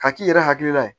K'a k'i yɛrɛ hakilila ye